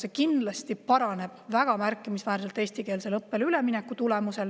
See kindlasti paraneb väga märkimisväärselt ka eestikeelsele õppele ülemineku tulemusel.